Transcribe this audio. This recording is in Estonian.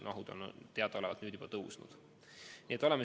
Mahud on nüüd juba kasvanud, nagu me teame.